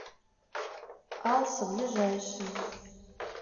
алсо ближайший